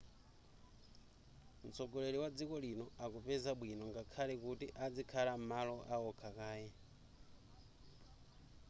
mtsogoleri wa dziko lino akupeza bwino ngakhale kuti adzikhala m'malo aokha kaye